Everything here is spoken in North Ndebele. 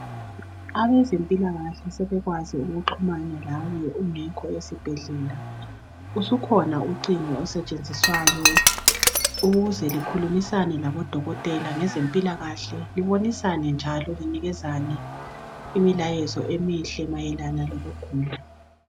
Abezempilakahle sebekwazi ukuxhumana lawe ungekho esibhedlela selukhona ucingo olusetshenziswayo ukuze likhulumisane labodokotela ngempilakahle likhulumisane njalo linikezane imilayezo emihle Mayelana lokugula